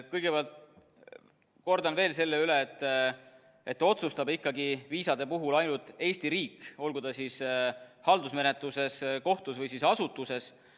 Kõigepealt kordan veel selle üle, et viisade puhul otsustab ikkagi ainult Eesti riik, olgu ta siis haldusmenetluses, kohtus või asutuses.